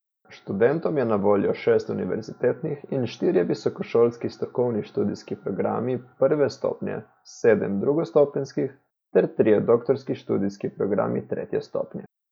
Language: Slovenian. Študentom je na voljo šest univerzitetnih in štirje visokošolski strokovni študijski programi prve stopnje, sedem drugostopenjskih ter trije doktorski študijski programi tretje stopnje.